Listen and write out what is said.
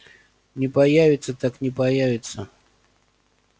не появится так не появится